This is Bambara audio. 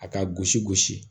A ka gosi gosi